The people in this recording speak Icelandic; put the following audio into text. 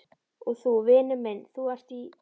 Og þú, vinur minn, ÞÚ ERT Í